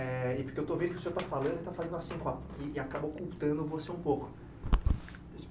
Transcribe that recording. Eh e porque eu estou vendo que o senhor está falando e está fazendo assim com a, e acaba ocultando você um pouco.